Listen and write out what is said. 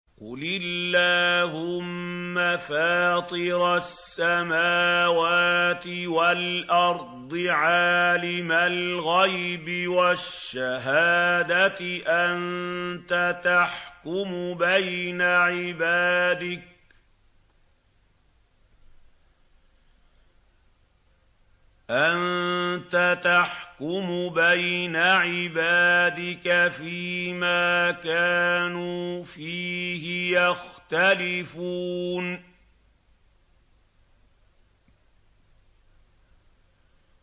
قُلِ اللَّهُمَّ فَاطِرَ السَّمَاوَاتِ وَالْأَرْضِ عَالِمَ الْغَيْبِ وَالشَّهَادَةِ أَنتَ تَحْكُمُ بَيْنَ عِبَادِكَ فِي مَا كَانُوا فِيهِ يَخْتَلِفُونَ